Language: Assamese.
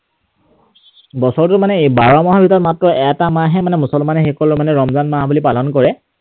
বছৰটোৰ মানে বাৰ মাহৰ ভিতৰত মাত্ৰ এটা মাহহে মানে মুছলমান সকলে ৰমজান মাহ বুলি পালন কৰে।